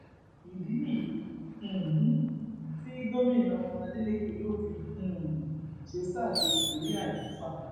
ìdí nìyí um tí gómìnà adeleke yóò fi um ṣe sáà kejì lórí àlééfà